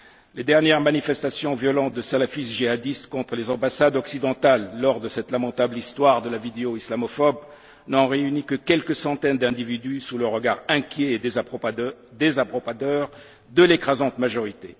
Les dernières manifestations violentes de salafistes djihadistes contre les ambassades occidentales, lors de cette lamentable histoire de la vidéo islamophobe, n'ont réuni que quelques centaines d'individus, sous le regard inquiet et désapprobateur de l'écrasante majorité.